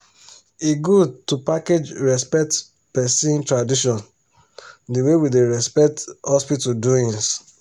e good to package respect person tradition d way we da respect hospital doins